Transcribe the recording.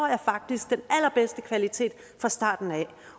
jeg faktisk den allerbedste kvalitet fra starten af